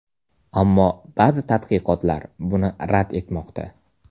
Ammo ba’zi tadqiqotlar buni rad etmoqda.